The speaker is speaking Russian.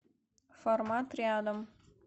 формат рядом